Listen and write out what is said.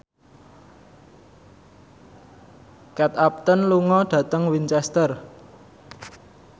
Kate Upton lunga dhateng Winchester